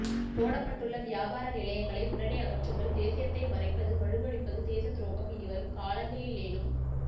போடப்பட்டுள்ள வியாபார நிலையங்களை உடனே அகற்றுங்கள் தேசியத்தை மறைப்பது மழுங்கடிப்பது தேசத்துரோகம் இனிவரும் காலங்களிலேனும்